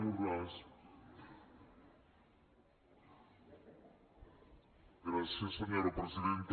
gràcies senyora presidenta